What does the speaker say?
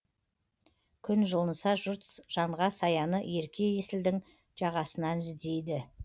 күн жылынса жұрт жанға саяны ерке есілдің жағасынан іздейді